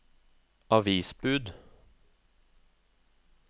avisbud